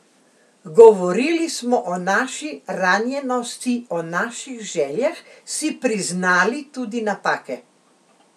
Govorili smo o naši ranjenosti, o naših željah, si priznali tudi napake.